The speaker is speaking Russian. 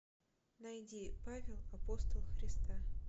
найди павел апостол христа